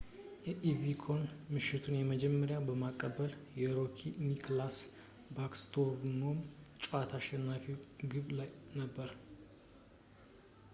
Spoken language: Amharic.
የኦቨቺኪን የምሽቱን የመጀመሪያ ማቀበል በሮኪ ኒከላስ ባክስትሮም የጨዋታ አሸናፊ ግብ ላይ ነበር